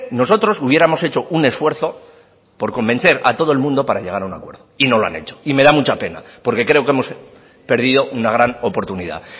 nosotros hubiéramos hecho un esfuerzo por convencer a todo el mundo para llegar a un acuerdo y no lo han hecho y me da mucha pena porque creo que hemos perdido una gran oportunidad